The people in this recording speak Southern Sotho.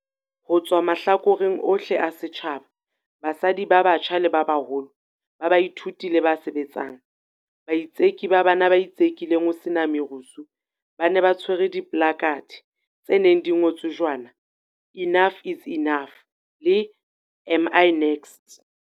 Ho tswa mahlakoreng ohle a setjhaba, basadi ba batjha le ba baholo, ba baithuti le ba sebetsang, baitseki bana ba itsekileng ho sena merusu ba ne ba tshwere dipolakhathe tse neng di ngotswe jwana Enough is Enough le Am I next?